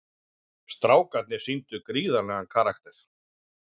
Strákarnir sýndu gríðarlegan karakter